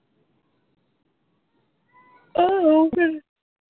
ਹਾਂ ਉਹ ਫਿਰ।